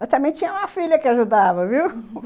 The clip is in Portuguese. Mas também tinha uma filha que ajudava, viu?